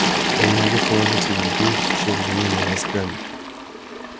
я не могу положиться на людей с червиными мозгами